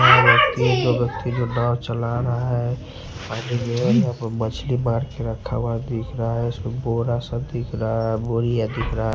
दो व्यक्ति जो नाव चला रहा है आगे गया है यहां पर मछली मार के रखा हुआ दिख रहा है उसका बोरा सब दिख रहा है बोरिया दिख रहा--